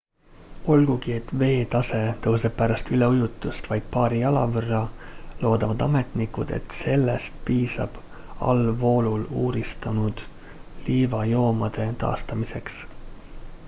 olgugi et veetase tõuseb pärast üleujutust vaid paari jala võrra loodavad ametnikud et sellest piisab allvoolul uuristunud liivajoomade taastamiseks